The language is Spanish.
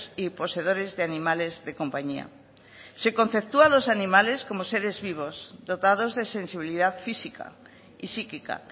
y poseedores de animales de compañía se conceptúa a los animales como seres vivos dotados de sensibilidad física y psíquica